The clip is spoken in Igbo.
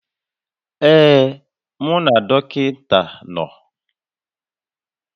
Ee, mụ na dọkịta nọ